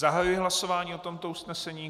Zahajuji hlasování o tomto usnesení.